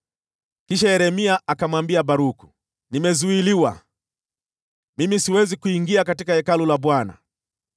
Kisha Yeremia akamwambia Baruku, “Nimezuiliwa, mimi siwezi kuingia katika Hekalu la Bwana .